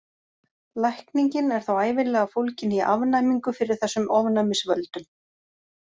Lækningin er þá ævinlega fólgin í afnæmingu fyrir þessum ofnæmisvöldum.